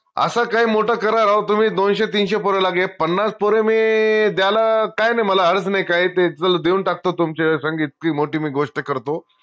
अस काई मोट करा राव तुम्ही दोनशे, तीनशे पोर लगे हे पन्नास पोर मी द्यायला काई नाई मला नाई काई ते चला देऊन टाकतो तुमचे संग इतकी मोटी मी गोष्ट करतो